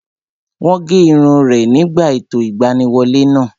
Wọ́n gé irun rẹ̀ nígbà ètò ìgbaniwọlé náà